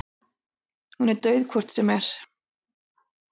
Hún er dauð hvort sem er.